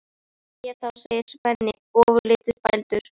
Jæja þá, segir Svenni ofurlítið spældur.